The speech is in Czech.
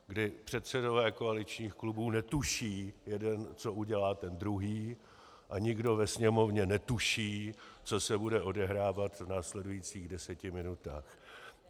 Kdy předsedové koaličních klubů netuší jeden, co udělá ten druhý, a nikdo ve Sněmovně netuší, co se bude odehrávat v následujících deseti minutách.